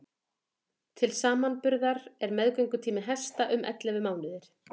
til samanburðar er meðgöngutími hesta um ellefu mánuðir